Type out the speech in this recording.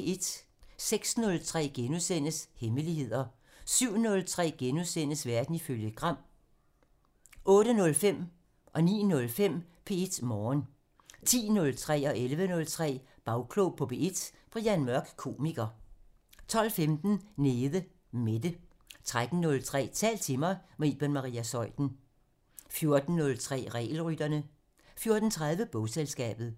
06:03: Hemmeligheder * 07:03: Verden ifølge Gram (Afs. 40)* 08:05: P1 Morgen 09:05: P1 Morgen 10:03: Bagklog på P1: Brian Mørk, komiker 11:03: Bagklog på P1: Brian Mørk, komiker 12:15: Nede Mette 13:03: Tal til mig - med Iben Maria Zeuthen 14:03: Regelrytterne 14:30: Bogselskabet